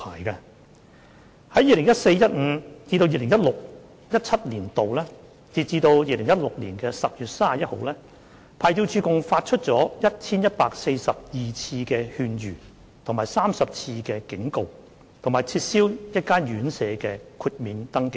在 2014-2015 年度至 2016-2017 年度，牌照處發出共 1,142 次勸諭及30次警告，並撤銷1間院舍的豁免證明書。